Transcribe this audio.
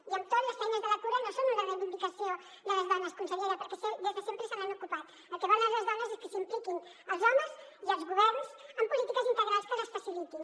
i amb tot les feines de la cura no són una reivindicació de les dones consellera perquè des de sempre se n’han ocupat el que volen les dones és que s’hi impliquin els homes i els governs amb polítiques integrals que les facilitin